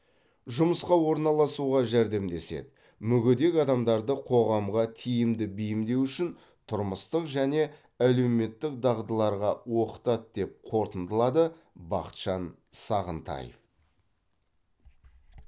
жұмысқа орналасуға жәрдемдеседі мүгедек адамдарды қоғамға тиімді бейімдеу үшін тұрмыстық және әлеуметтік дағдыларға оқытады деп қортындылады бақытжан сағынтаев